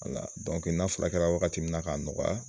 n'a fula kɛra waagati min na k'a nɔgɔya.